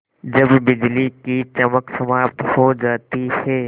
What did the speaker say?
जब बिजली की चमक समाप्त हो जाती है